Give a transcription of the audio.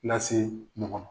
Lase ɲɔgɔn ma